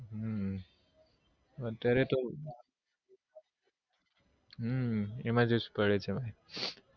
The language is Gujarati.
હમ અત્યારે તો હમ emergency પડે છે ભાઈ